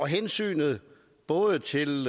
hensynet både til